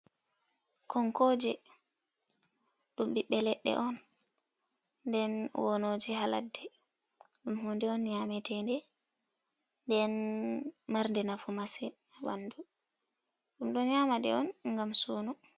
Konkooje ɗum ɓiɓɓe ledde on, nden wonoje haladde, ɗum hunde on nyametede nden marde nafu masin ha ɓandu, ɗum ɗo nyama ɗe on ngam suuno.